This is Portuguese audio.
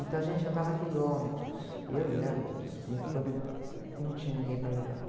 Então a gente andava quilômetros, eu e ela e meus primos, quando não tinha ninguém para levar.